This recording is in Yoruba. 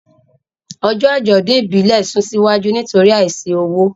Ọjọ́ àjọ̀dún ìbílẹ̀ sún síwájú nítorí àìsí owó.